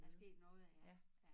Der er sket noget ja ja